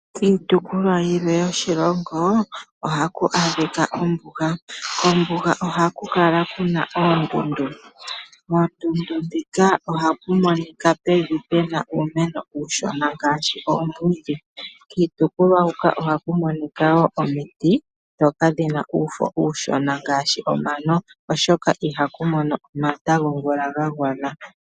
Kiitopolwa yilwe yoshilongo ohaku adhika ombuga. kombuga ohaku kala kuna oondundu. KOondundu huka ohaku monika pevi pu na uumeno uushona ngaashi oomwiidhi. Kiitopolwa huka oha ku monika woo omiti ndhoka dhina uufo uushona ngaashi omano oshoka iha ku mono omata gomvula gagwana.